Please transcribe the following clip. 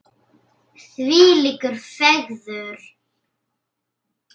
Þvílík fegurð!